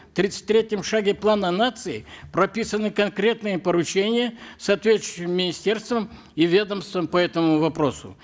в тридцать третьем шаге плана нации прописаны конкретные поручения соответствующим министерствам и ведомствам по этому вопросу